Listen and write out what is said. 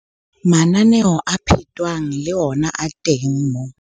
Mananeo a phetwang le ona a teng moo.